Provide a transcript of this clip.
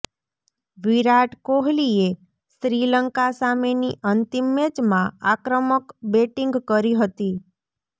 વિરાટ કોહલીએ શ્રીલંકા સામેની અંતિમ મેચમાં આક્રમક બેટિંગ કરી હતી